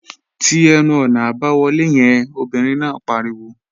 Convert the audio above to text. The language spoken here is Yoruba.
Ti ẹnu-ọ̀nà àbáwọlé yẹn, obìnrin náà pariwo!